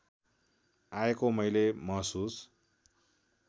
आएको मैले महसुस